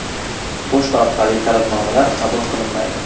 Pochta orqali talabnomalar qabul qilinmaydi.